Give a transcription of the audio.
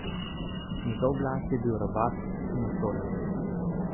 Njegov glas je bil robat in osoren.